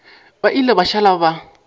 ba ile ba šala ba